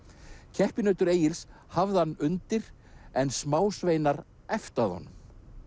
keppinautur Egils hafði hann undir en smásveinar æptu að honum